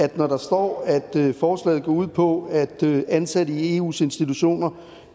at når der står at forslaget går ud på at ansætte i eus institutioner